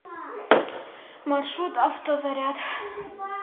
маршрут автозаряд